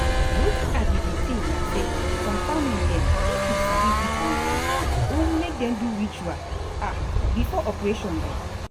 wetin i bin dey think na say some family dem if you sabi fit wan pray or make dem do ritual um before operation dem.